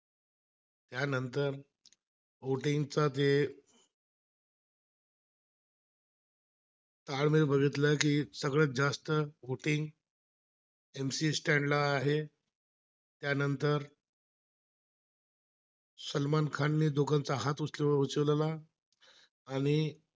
सलमान खानने दोघांचा हात उचलला, आणि